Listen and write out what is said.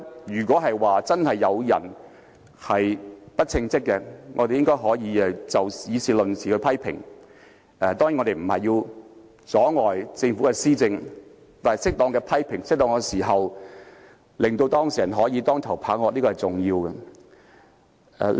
如果真的有人不稱職，我們可以議事論事的批評，當然也不要阻礙政府的施政，但在適當的時候作出批評，給當事人當頭棒喝是重要的。